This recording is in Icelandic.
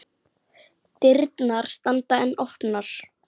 Dyrnar standa enn opnar.